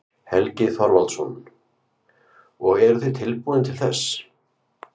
Helgi Þorvaldsson: Og eruð þið tilbúin til þess?